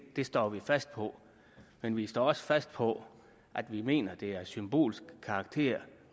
det står vi fast på men vi står også fast på at vi mener det er af symbolsk karakter